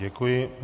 Děkuji.